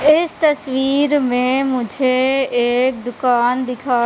इस तस्वीर में मुझे एक दुकान दिखा--